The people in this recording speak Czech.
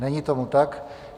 Není tomu tak.